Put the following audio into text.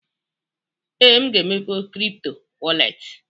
Ee, m ga-emepe kripto wọrlet.